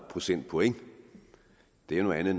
procentpoint det er noget andet